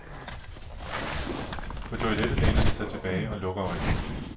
På toilettet læner han sig tilbage og lukker øjnene.